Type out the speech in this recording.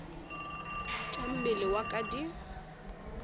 tša mmele wa ka di